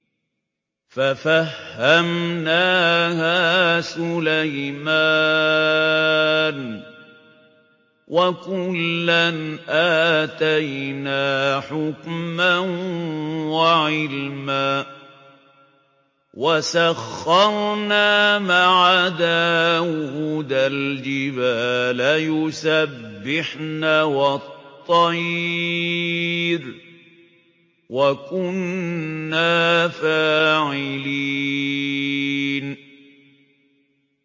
فَفَهَّمْنَاهَا سُلَيْمَانَ ۚ وَكُلًّا آتَيْنَا حُكْمًا وَعِلْمًا ۚ وَسَخَّرْنَا مَعَ دَاوُودَ الْجِبَالَ يُسَبِّحْنَ وَالطَّيْرَ ۚ وَكُنَّا فَاعِلِينَ